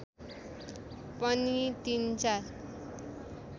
पनि तिन चार